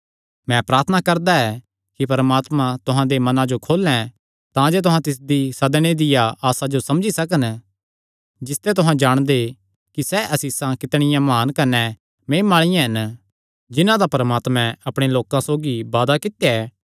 मैं प्रार्थना करदा ऐ कि परमात्मा तुहां दे मनां जो खोलें तांजे तुहां तिसदी सदणे दिया आसा जो समझी सकन जिसते तुहां जाणगे कि सैह़ आसीषां कितणियां म्हान कने महिमा आल़िआं हन जिन्हां दा परमात्मे अपणे लोकां सौगी वादा कित्या ऐ